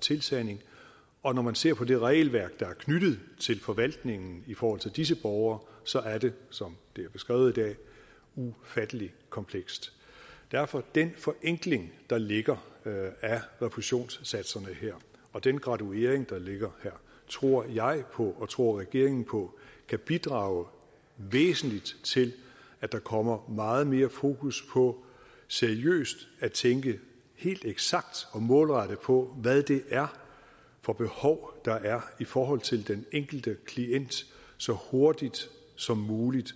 tilsanding og når man ser på det regelværk der er knyttet til forvaltningen i forhold til disse borgere så er det som det er beskrevet i dag ufattelig komplekst derfor den forenkling der ligger af refusionssatserne her og den graduering der ligger her tror jeg på og tror regeringen på kan bidrage væsentligt til at der kommer meget mere fokus på seriøst at tænke helt eksakt og målrettet på hvad det er for behov der er i forhold til den enkelte klient så hurtigt som muligt